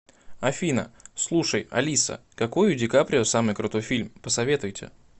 афина слушай алиса какой у ди каприо самый крутой фильм посоветуйте